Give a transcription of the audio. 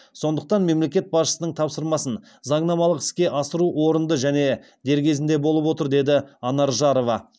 сондықтан мемлекет басшысының тапсырмасын заңнамалық іске асыру орынды және дер кезінде болып отыр деді анар жарова